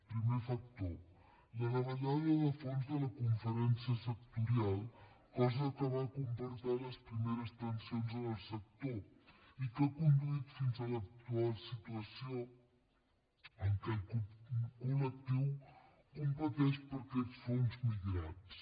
primer factor la davallada de fons de la conferència sectorial cosa que va comportar les primeres tensions en el sector i que ha conduït fins a l’actual situació en què el col·lectiu competeix per aquests fons migrats